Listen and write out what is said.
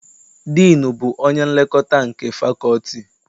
Diinu bụ onye nlekọta nke fakọlti.